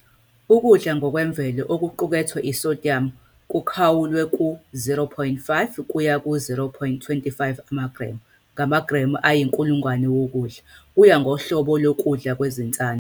Ukudla ngokwemvelo okuqukethe i-sodium kukhawulwe ku-0.05 - 0.25 amagremu ngamagremu ayi-100 wokudla, kuya ngohlobo lokudla kwezinsana.